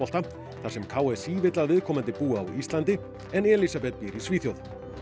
þar sem k s í vill að viðkomandi búi á Íslandi en Elísabet býr í Svíþjóð